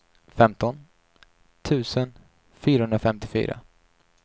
femton tusen fyrahundrafemtiofyra